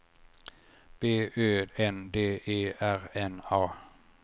B Ö N D E R N A